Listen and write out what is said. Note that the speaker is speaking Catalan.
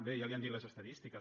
bé ja li han dit les estadístiques